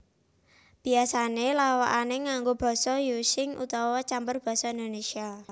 Biasané lawakané nganggo Basa Using utawa campur Basa Indonésia